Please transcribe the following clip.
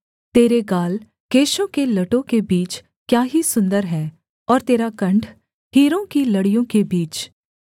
तेरे गाल केशों के लटों के बीच क्या ही सुन्दर हैं और तेरा कण्ठ हीरों की लड़ियों के बीच